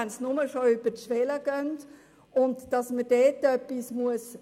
Ich empfinde es als wichtig, in diesem Bereich etwas zu unternehmen.